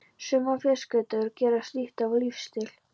Sumar fjölskyldur gera slíkt að lífsstíl.